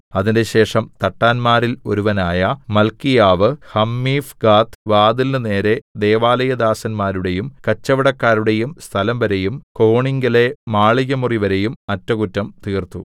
അതിന്‍റെശേഷം തട്ടാന്മാരിൽ ഒരുവനായ മല്ക്കീയാവ് ഹമ്മീഫ്ഖാദ് വാതിലിന് നേരെ ദൈവാലയദാസന്മാരുടെയും കച്ചവടക്കാരുടെയും സ്ഥലംവരെയും കോണിങ്കലെ മാളികമുറിവരെയും അറ്റകുറ്റം തീർത്തു